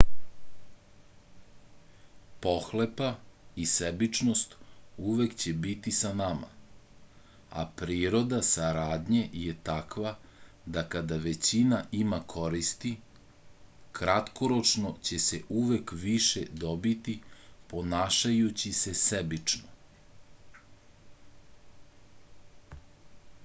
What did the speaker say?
pohlepa i sebičnost uvek će biti sa nama a priroda saradnje je takva da kada većina ima koristi kratkoročno će se uvek više dobiti ponašajući se sebično